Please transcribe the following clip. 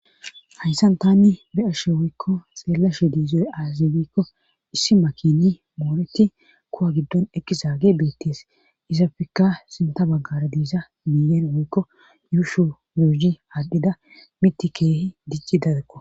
hayssan tani be ashe woykko xeellashe diizoy aazibikko issi makini mooreti kuwa giddon ekkisaage beettees isapfikka sinta baggara diiza miyen woykko yuushu muhi haadhida miti keehi dicci dadekko